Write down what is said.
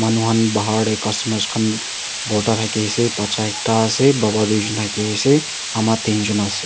manu kan bahar de costumers kan borta daki ase bacha ekta ase baba tuijun daki ase ama dinjun ase.